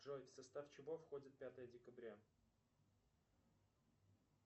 джой в состав чего входит пятое декабря